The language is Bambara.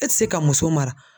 E ti se ka muso mara